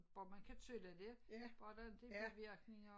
Bare man kan tåle det bare der ikke er bivirkninger